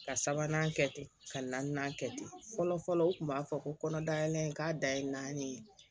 Ka sabanan kɛ ten ka na kɛ ten fɔlɔ fɔlɔ u tun b'a fɔ ko kɔnɔ dayɛlɛ k'a da ye naani ye